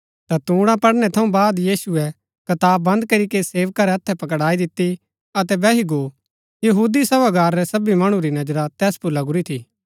ता तूणा पढ़नै थऊँ बाद यीशुऐ कताब बन्द करीके सेवका रै हथै पकड़ाई दिती अतै बैही गो यहूदी सभागार रै सभी मणु री नजरा तैस पुर लगुरी थी